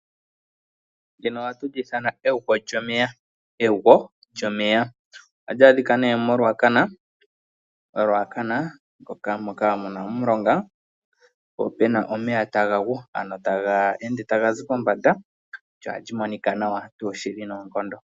Ndyono oha tu li ithana egwo lyomeya, egwo lyomeya. Oha li adhika ne moRuacana moka muna omulonga po pena omeya taga gu ano taga ende ta ga zi mombanda lyo oha li monika nawa tuu shili noonkondo.